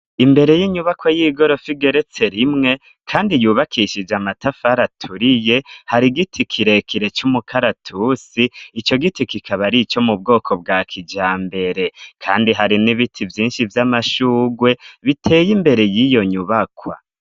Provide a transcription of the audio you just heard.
Imbere y'inyubako y'igorofa igeretse rimwe kandi yubakishije amatafari aturiye hari giti kirekire c'umukaratusi. Ico giti kikaba ari ico mu bwoko bwa kijambere kandi hari n'ibiti vyinshi vy'amashugwe, biteye imbere y'iyo nyubakwa.